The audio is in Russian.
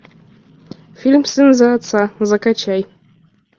фильм сын за отца закачай